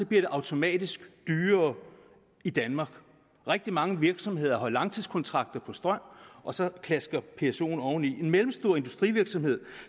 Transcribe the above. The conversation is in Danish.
det automatisk dyrere i danmark rigtig mange virksomheder har langtidskontrakter på strøm og så klaskes psoen oveni en mellemstor industrivirksomhed